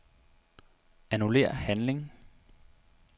Annullér handling.